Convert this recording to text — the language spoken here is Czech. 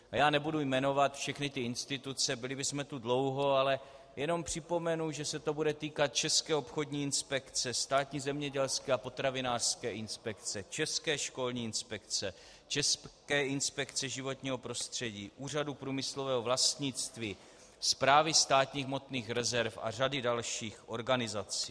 Já nebudu jmenovat všechny ty instituce, byli bychom tu dlouho, ale jenom připomenu, že se to bude týkat České obchodní inspekce, Státní zemědělské a potravinářské inspekce, České školní inspekce, České inspekce životního prostředí, Úřadu průmyslového vlastnictví, Správy státních hmotných rezerv a řady dalších organizací.